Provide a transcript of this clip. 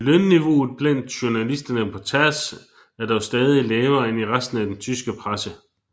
Lønniveauet blandt journalisterne på taz er dog stadig lavere end i resten af den tyske presse